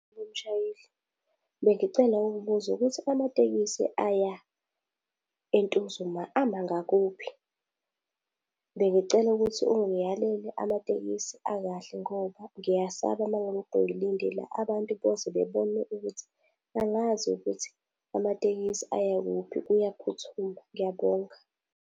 Wemshayeli, bengicela ukubuza ukuthi amatekisi aya eNtuzuma ama ngakuphi. Bengicela ukuthi ungiyalele amatekisi akahle ngoba ngiyasaba uma ngilokhu ngilinde la, abantu boze babone ukuthi angazi ukuthi amatekisi aya kuphi kuyaphuthuma, ngiyabonga.